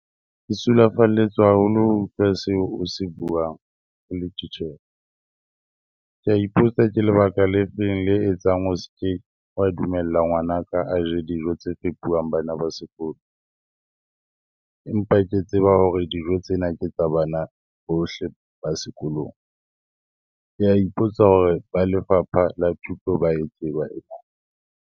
Ke sulafalletswe haholo ho utlwa seo o se buang o le titjhere. Ke a ipotsa ke lebaka le feng le etsang o ske wa dumela ngwanaka a je dijo tse fepuwang bana ba sekolo, empa ke tseba hore dijo tsena ke tsa bana bohle ba sekolong. Ke a ipotsa hore ba lefapha la thuto ba e tseba .